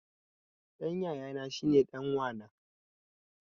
Ɗan yayana shine ɗan wa na